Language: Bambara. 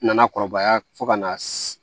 Nana kɔrɔbaya fo ka na se